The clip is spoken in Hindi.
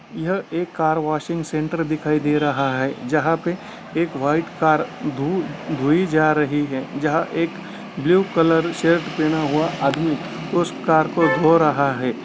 यह एक कार वाशिंग सेंटर दिखाई दे रहा है जहाँ पे एक व्हाइट कार धोई जा रही है जहाँ एक ब्लू कलर शर्ट पहना हुआ आदमी उस कार को धो रहा है।